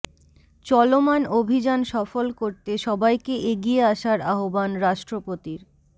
চলমান অভিযান সফল করতে সবাইকে এগিয়ে আসার আহ্বান রাষ্ট্রপতির